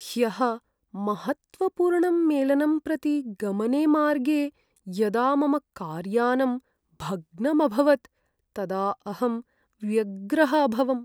ह्यः महत्त्वपूर्णं मेलनं प्रति गमने मार्गे यदा मम कार्यानम् भग्नम् अभवत् तदा अहं व्यग्रः अभवम्।